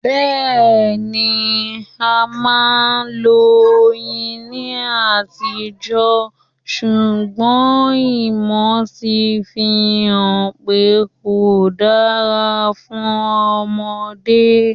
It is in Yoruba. Bẹ́ẹ̀ni, a máa ń lo Oyin ní àtijọ́ ṣùgbọ́n ìmọ̀ ti fi hàn pé kò dára fún Ọmọdé.